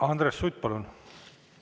Andres Sutt, palun!